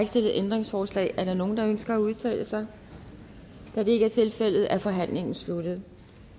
stillet ændringsforslag er der nogen der ønsker at udtale sig da det ikke er tilfældet er forhandlingen sluttet